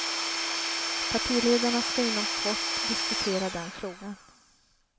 Partiledarna ska inom kort diskutera den frågan.